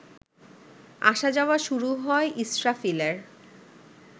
আসা-যাওয়া শুরু হয় ইসরাফিলের